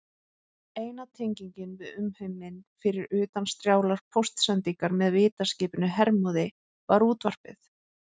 Eina tengingin við umheiminn, fyrir utan strjálar póstsendingar með vitaskipinu Hermóði, var útvarpið.